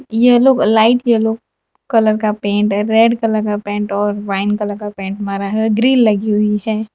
Yellow light yellow colour का paint है red colour का पेंट और वाइन कलर का पेंट मारा है ग्रील लगी हुई है।